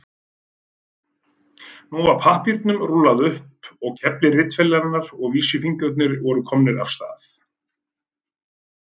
Nú var pappírnum rúllað upp á kefli ritvélarinnar og vísifingurnir voru komnir af stað.